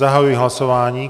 Zahajuji hlasování.